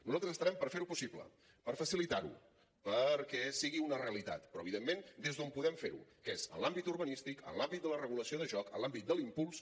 nosaltres estarem per fer ho possible per facilitar ho perquè sigui una realitat però evidentment des d’on podem fer ho que és en l’àmbit urbanístic en l’àmbit de la regulació de joc en l’àmbit de l’impuls